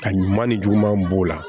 Ka ɲuman ni juguman b'o la